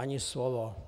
Ani slovo.